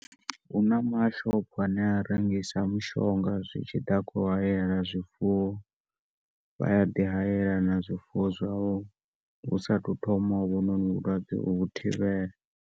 Huna mashopho ane a rengisa mushonga zwitshiḓa kho u haela zwifuwo vha a ḓi haela zwifuwo husathu thoma hovhu noni vhulwadze u vhu thivhela.